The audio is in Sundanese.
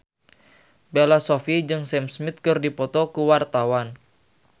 Bella Shofie jeung Sam Smith keur dipoto ku wartawan